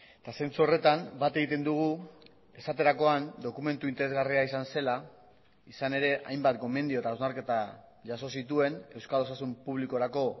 eta zentzu horretan bat egiten dugu esaterakoan dokumentu interesgarria izan zela izan ere hainbat gomendio eta hausnarketa jaso zituen euskal osasun publikorako